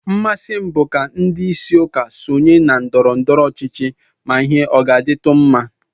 Mmasị m bụ ka ndị isi ụka sonye na ndọrọndọrọ ọchịchị ma ihe ọ ga-adịtụ mma